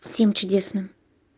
всем чудесным